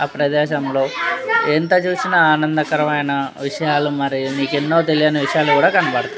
హ ప్రదేహ్సము లో ఎంత చూసినా అనధము కరము ఏఇన విషయాలు మరి నీకు యెన్నో తెలియనీ విషయాలు కూడా కనబడతాయి.